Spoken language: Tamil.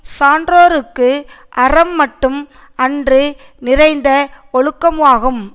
சான்றோர்க்கு அறம் மட்டும் அன்று நிறைந்த ஒழுக்கமாகும்